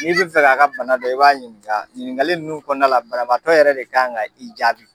N'i bɛ fɛ k'a ka bana dɔ i b'a ɲininka ɲininkali ninnu kɔnɔna la banabagatɔ yɛrɛ de kan ka i jaabi.